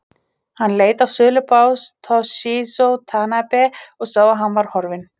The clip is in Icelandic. Hann leit á sölubás Toshizo Tanabe og sá að hann var horfinn.